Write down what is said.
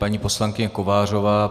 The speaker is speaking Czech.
Paní poslankyně Kovářová.